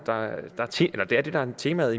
temaet